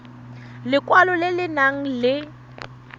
lekwalo le le nang le